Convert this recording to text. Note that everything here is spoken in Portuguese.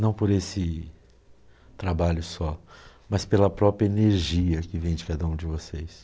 Não por esse trabalho só, mas pela própria energia que vem de cada um de vocês.